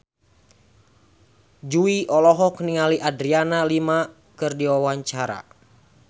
Jui olohok ningali Adriana Lima keur diwawancara